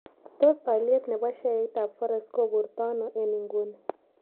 Tos' alyet ne po sheaitap forex koburtano eng' inguni